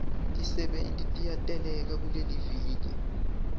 tisebenti tiyateleka kuleliviki